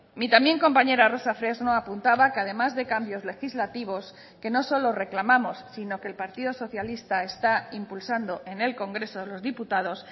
mi también compañera rosa fresno apuntaba que además de cambios legislativos que no solo reclamamos sino que el partido socialista está impulsando en el congreso de los diputados